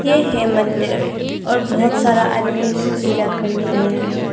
ये है मंदिर और बहुत सारा आदमी से पूजा करनी आया है।